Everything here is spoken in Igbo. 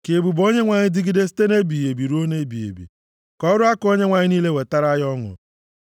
Ka ebube Onyenwe anyị dịgide site nʼebighị ebi ruo nʼebighị ebi; ka ọrụ aka Onyenwe anyị niile wetara ya ọṅụ,